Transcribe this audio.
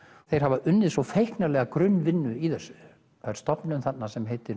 þeir hafa unnið feiknarlega grunnvinnu í þessu það er stofnun þarna sem heitir